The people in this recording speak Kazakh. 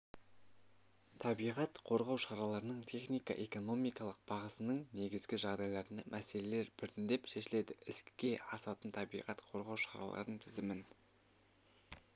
табиғат қорғау шараларының техника-экономикалық бағасының негізгі жағдайларында мәселелер біртіндеп шешіледі іске асатын табиғат қорғау шараларының тізімін